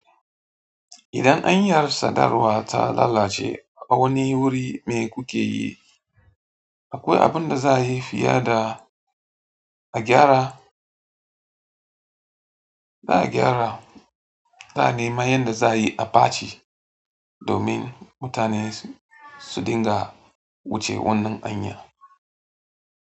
Idan anyar sadarwa ta lalace a wani wuri mai kukeyi? Akwai abin da za a yi fiye da a gyara? Za a gyara, za a nema yadda za a yi abaci domin mutane su dinga wuce wannan hanya.